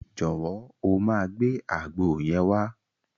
Jọ̀wọ́, o máa gbé àgbo yẹn wá.